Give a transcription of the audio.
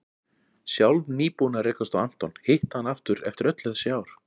Sjálf nýbúin að rekast á Anton, hitta hann aftur eftir öll þessi ár.